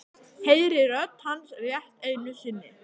Heyri rödd hans rétt einu sinni.